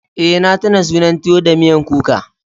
Eh na tuna sunan tuwo da miyan kuka.